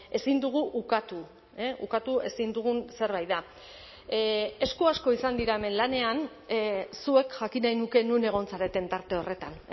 ezin dugu ukatu ukatu ezin dugun zerbait da esku asko izan dira hemen lanean zuek jakin nahi nuke non egon zareten tarte horretan